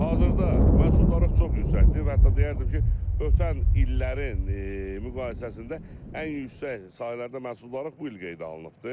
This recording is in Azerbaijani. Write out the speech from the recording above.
Hazırda məhsuldarlıq çox yüksəkdir və hətta deyərdim ki, ötən illərin müqayisəsində ən yüksək sahələrdə məhsuldarlıq bu il qeydə alınıbdır.